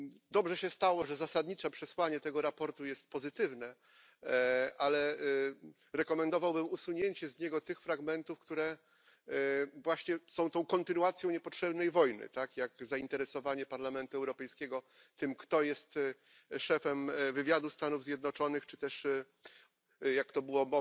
Dobrze się stało, że zasadnicze przesłanie tego sprawozdania jest pozytywne, ale rekomendowałbym usunięcie z niego tych fragmentów, które właśnie są tą kontynuacją niepotrzebnej wojny, tak jak zainteresowanie Parlamentu Europejskiego tym, kto jest szefem wywiadu Stanów Zjednoczonych, czy też, jak to była